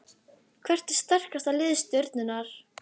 Hvert er sterkasta lið Stjörnunnar?